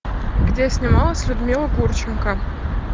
где снималась людмила гурченко